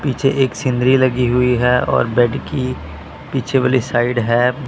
पीछे एक सीनरी लगी हुई है और बेड की पीछे वाली साइड है।